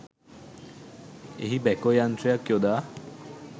එහි බැකෝ යන්ත්‍රයක් යොදා